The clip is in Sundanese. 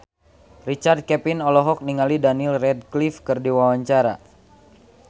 Richard Kevin olohok ningali Daniel Radcliffe keur diwawancara